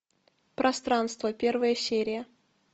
пространство первая серия